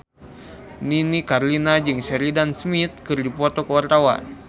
Nini Carlina jeung Sheridan Smith keur dipoto ku wartawan